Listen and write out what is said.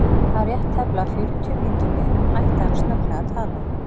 Að rétt tæplega fjörutíu mínútum liðnum hætti hann snögglega að tala.